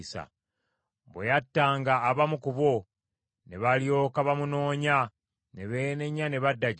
Bwe yattanga abamu ku bo, ne balyoka bamunoonya, ne beenenya ne badda gy’ali.